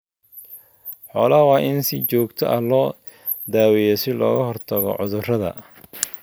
Xoolaha waa in si joogto ah loo daaweeyaa si looga hortago cudurrada.